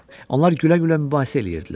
Onlar gülə-gülə mübahisə eləyirdilər.